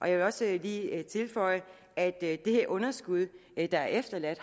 jeg vil også lige tilføje at det underskud der er efterladt